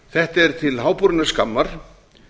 þetta er til háborinnar skammar